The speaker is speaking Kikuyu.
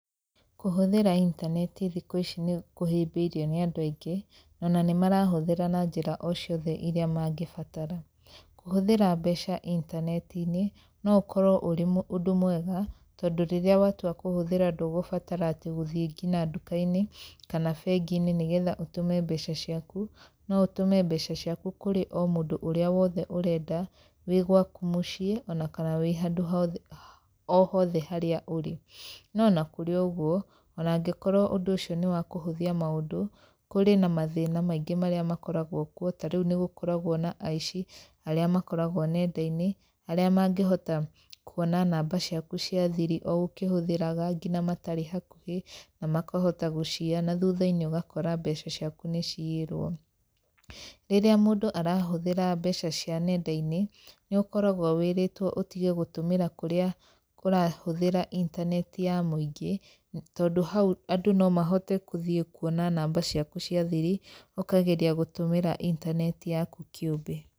Kũhũthĩra intaneti thikũ ici nĩ kũhĩmbĩirio nĩ andũ aingĩ, na ona nĩ marahũthĩra na njĩra o ciothe irĩa mangĩbatara. Kũhũthĩra mbeca intaneti-inĩ no ũkorwo ũrĩ ũndũ mwega, tondũ rĩrĩa watua kũhũthĩra ndũgũbatara atĩ gũthiĩ ngina nduka-inĩ kana bengi-inĩ nĩ getha ũtũme mbeca ciaku. No ũtũme mbeca ciaku kũrĩ o mũndũ ũrĩa wothe ũrenda, wĩ gwaku mũciĩ ona kana wĩ handũ hothe o hothe harĩa ũrĩ. No ona kũrĩ o ũguo, ona angĩkorwo ũndũ ũcio nĩ wa kũhũthia maũndũ, kũrĩ na mathĩna maingĩ marĩa makoragwo kuo, ta rĩu nĩ gũkoragwo na aici arĩa makoragwo nenda-inĩ, arĩa mangĩhota kuona namba ciaku cia thiri o ũkĩhũthĩraga ngina matarĩ hakuhĩ na makahota gũciiya na thutha-inĩ ũgakora mbeca ciaku nĩ ciyirwo. Rĩrĩa mũndũ arahũthĩra mbeca cia nenda-inĩ, nĩ ũkoragwo wĩrĩtwo ũtige gũtũmĩra kũrĩa ũrahũthĩra intaneti ya mũingĩ tondũ hau andũ no mahote kũthiĩ kuona namba ciaku cia thiri ũkageria gũtũmĩra intaneti yaku kĩũmbe.